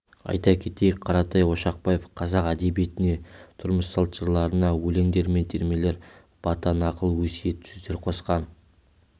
айта кетейік қаратай ошақбаев қазақ әдебиетіне тұрмыс-салт жырларына өлеңдер мен термелер бата нақыл өсиет сөздер қосқан